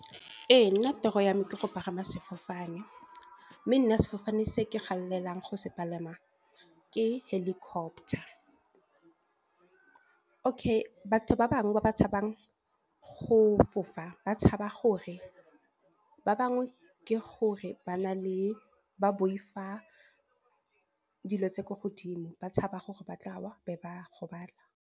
Ee, nna toro yame ke go pagama sefofane, mme nna sefofane se ke galelang go se palama ke helicopter. Okay batho ba bangwe ba ba tshabang go fofa ba tshaba gore ba bangwe, ke gore ba boifa dilo tse ko godimo, ba tshaba gore ba tla wa ba be ba gobala.